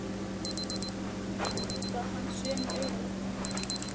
Myndi kannski aldrei líta hann sömu augum.